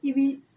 I bi